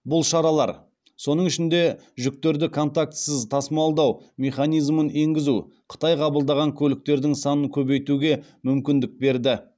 бұл шаралар соның ішінде жүктерді контактісіз тасымалдау механизмін енгізу қытай қабылдаған көліктердің санын көбейтуге мүмкіндік берді